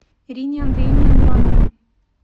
ирине андреевне андроновой